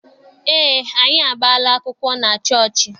Eé, anyị agbaala akwụkwọ na chọọchị.